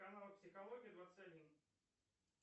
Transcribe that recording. канал психология двадцать один